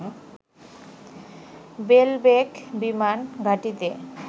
বেলবেক বিমান ঘাঁটিতে